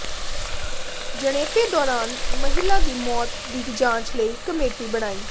ਜਣੇਪੇ ਦੌਰਾਨ ਮਹਿਲਾ ਦੀ ਮੌਤ ਦੀ ਜਾਂਚ ਲਈ ਕਮੇਟੀ ਬਣਾਈ